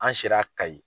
An sera kayi